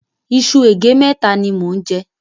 Iṣu ègé mẹ́ta ni mò ń jẹ.